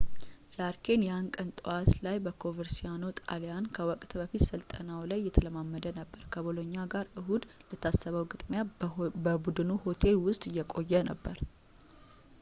ጃርኬ ያን ቀን ጠዋት ላይ በኮቨርሲአኖ ጣልያን ከወቅት-በፊት ስልጠናው ላይ እየተለማመደ ነበር ከቦሎኛ ጋር እሁድ ለታሰበው ግጥሚያ በቡድኑ ሆቴል ውስጥ እየቆየ ነበር